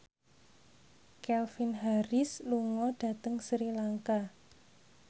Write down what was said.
Calvin Harris lunga dhateng Sri Lanka